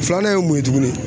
Filanan ye mun ye tuguni